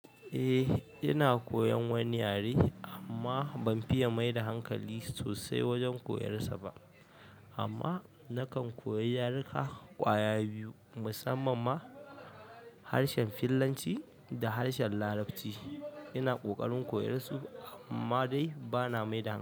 Eh, ina koyan wani yare amma ban fiya maida hankali sosai wajen koyarsa ba. Amma nakan koyi yaruka ƙwaya biyu musamman ma harshen fillanci da harshen larabci. Ina ƙoƙarin koyarsu amma dai bana mai da hankali.